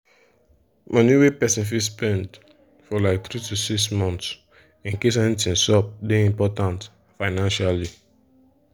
money wey person fit spend for like 3-6 months incase anything sup dey important financially.